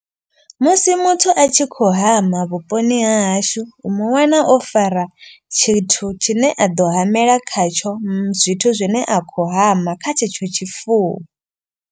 Musi muthu a tshi khou hama vhuponi ha hashu u muwana o fara. Tshithu tshine a ḓo hamela khatsho zwithu zwine a khou hama kha tshetsho tshifuwo.